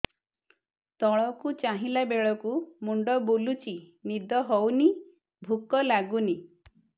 ତଳକୁ ଚାହିଁଲା ବେଳକୁ ମୁଣ୍ଡ ବୁଲୁଚି ନିଦ ହଉନି ଭୁକ ଲାଗୁନି